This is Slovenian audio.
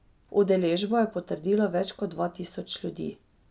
Udeležbo je potrdilo več kot dva tisoč ljudi.